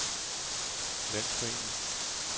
landsforening